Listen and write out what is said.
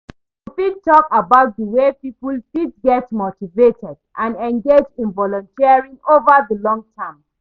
You fit talk about di way poeple fit get motivated and engaged in volunteering over di long-term.